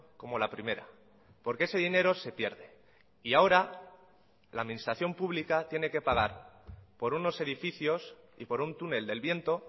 como la primera porque ese dinero se pierde y ahora la administración pública tiene que pagar por unos edificios y por un túnel del viento